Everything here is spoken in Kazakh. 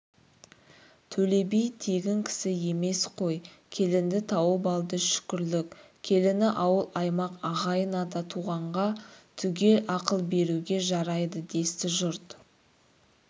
төле би тегін кісі емес қой келінді тауып алды шүкірлік келіні ауыл-аймақ ағайын-ата туғанға түгел ақыл беруге жарайды десті жұрт